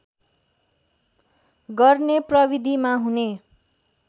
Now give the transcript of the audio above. गर्ने प्रविधिमा हुने